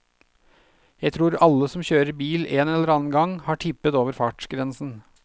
Jeg tror alle som kjører bil en eller annen gang, har tippet over fartsgrensen.